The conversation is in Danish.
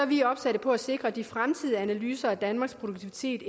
vi opsatte på at sikre at de fremtidige analyser af danmarks produktivitet